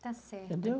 Está certo. Entendeu?